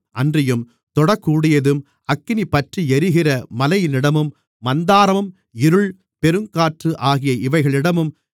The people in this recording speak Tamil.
அன்றியும் தொடக்கூடியதும் அக்கினி பற்றியெரிகிற மலையினிடமும் மந்தாரம் இருள் பெருங்காற்று ஆகிய இவைகளிடமும்